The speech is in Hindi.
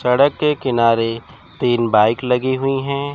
सड़क के किनारे तीन बाइक लगी हुई हैं।